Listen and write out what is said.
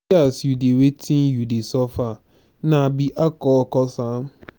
see as you dey wetin you dey suffer na be alcohol cause am.